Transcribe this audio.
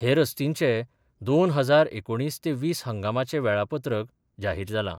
हे रस्तींचे दोन हजार एकुणीस ते वीस हंगामाचे वेळापत्रक जाहीर जालां.